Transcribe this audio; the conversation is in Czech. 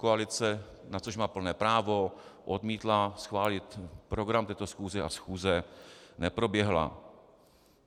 Koalice, na což má plné právo, odmítla schválit program této schůze a schůze neproběhla.